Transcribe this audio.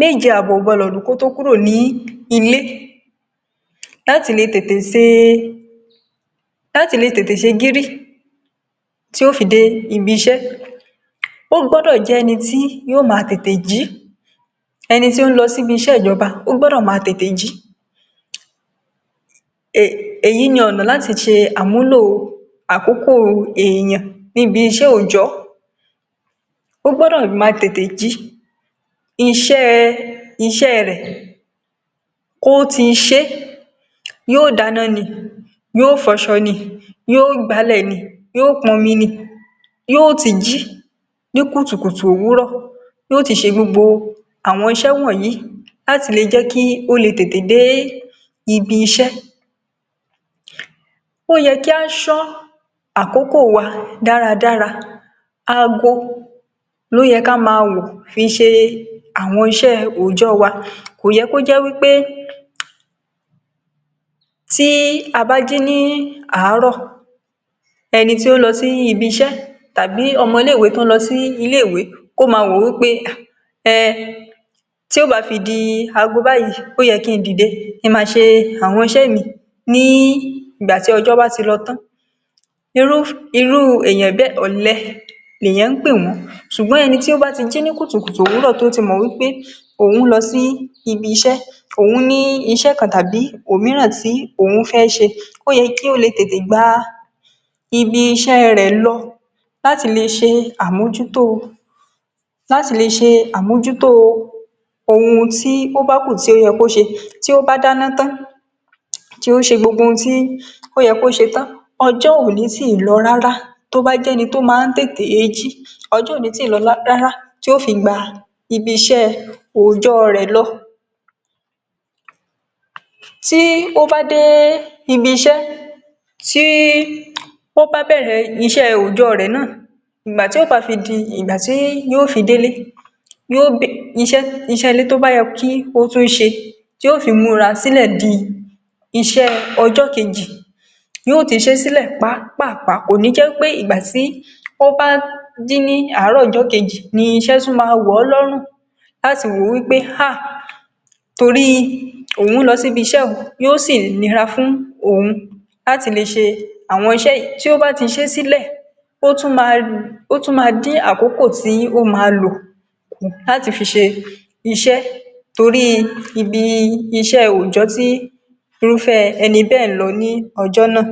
méje-ábọ̀ kò gbọ́dọ̀ lu kó tó kúrò ní ilé, láti lè tete ṣe gíri tí ó fi dé ibi-ìṣẹ́, ó gbọ́dọ̀ jẹ́ ẹni tí yóò máa tete jí, ẹni tí ó ń lọ sí iṣẹ́ ìjọba ó gbọ́dọ̀ máa tete jí. Ẹ̀yí ni ọ̀nà láti ṣe àmúlò àkókò ẹ̀yàn ní ibi-ìṣẹ́ onjẹ, ó gbọ́dọ̀ máa tete jí, iṣẹ́ rẹ kò tí í ṣe, yóò dána ni, yóò fọṣọ ni, yóò gàbùlé ni, yóò pọ̀n omi ni, yóò ti jí ní kùtùkùtù òwúrọ̀, yóò ti ṣe gbogbo iṣẹ́ wọ̀n-ń-yìí, láti lè jẹ́ kí ó lè tete dé ibi-ìṣẹ́, ó yẹ kí a ṣọ àkókò wa dáadáa, àgọ́ lo yẹ kí a máa wò fi ṣe àwọn iṣẹ́ onjẹ wa. Kò yẹ kí ó jẹ́ wípé tí a bá jí ní àárọ̀, ẹni tí ó ń lọ sí ibi-ìṣẹ́ tàbí ọmọ ilé-ìwé tí ó ń lọ sí ilé-ìwé kò máa wò wípé tí ó máa fi di àgọ́ báyìí ó yẹ kí n dìde kí n máa ṣe àwọn iṣẹ́ mi ní ìgbà tí ọjọ́ bá ti lọ tan, irú ẹni bẹ́ẹ̀ olè ni wọ́n pé wọ́n, ṣùgbọ́n ẹni tí ó bá ti jí ní kùtùkùtù òwúrọ̀, tó ti mọ̀ wípé òun lọ sí ibi-ìṣẹ́, òun ní iṣẹ́ kan tàbí òmíràn tí òun fẹ́ ṣe, ó yẹ kí ó lè tete gba ibi-ìṣẹ́ rẹ lọ, láti lè ṣe amójútó ohun tí ó bá kù tí ó yẹ kí ó ṣe. Tó bá dána tan, tí iṣẹ́ gbogbo ohun tí ó yẹ kí ó ṣe tan, ọjọ́ òní ti lọ rárá tí ó fi gba ibi-ìṣẹ́ onjẹ rẹ lọ. Tí ó bá dé ibi-ìṣẹ́, tí ó bá bẹ̀rẹ̀ iṣẹ́ onjẹ rẹ náà, nígbà tí yóò bá fi di ìgbà tó bá fi dé ilé, iṣẹ́ ilé tó bá yẹ kí ó tún ṣe, yóò fi mura sílẹ̀ di iṣẹ́ ọjọ́ kejì, yóò ti ṣe sílẹ̀ pápáàpáà, kò ní jẹ́ wípé ìgbà tí ó bá jí ní àárọ̀ ọjọ́ kejì ni iṣẹ́ tún máa wọ̀ lórùn láti wò wípé “haa, torí òun lọ sí ibi-ìṣẹ́”, yóò sì nira fún òun láti lè ṣe àwọn iṣẹ́ yìí. Tí ó bá ti ṣe sílẹ̀, ó tún máa dín àkókò tí ó máa lo láti fi ṣe iṣẹ́, torí ibi-ìṣẹ́ onjẹ tí irú ẹni bẹ́ẹ̀ ń lọ ni ọjọ́ náà.